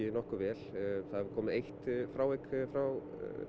nokkuð vel það hefur komið eitt frávik frá